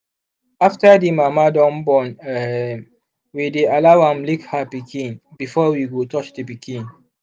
after the mama dun born um we dy allow am lick her pikin before we go touch the pikin